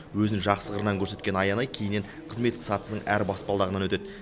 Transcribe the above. өзін жақсы қырынан көрсеткен аянай кейіннен қызметтік сатысының әр баспалдағынан өтеді